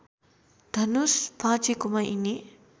धनुष भाचेकोमा यिनी